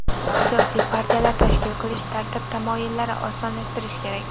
Siyosiy partiyalar tashkil qilish tartib-taomillarini osonlashtirish kerak.